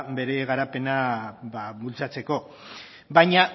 ba bere garapena bultzatzeko baina